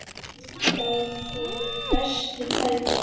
Þar voru bestu tækin.